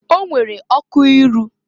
O nwere ọkụ iru.